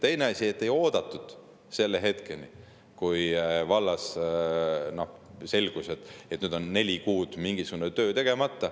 Teine asi: ei oodatud hetkeni, kui oleks vallas selgunud, et neli kuud ei ole mingisugust tööd tehtud.